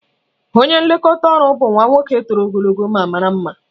Onye nlekọta ọrụ bụ nwa nwoke toro ogologo ma mara mma.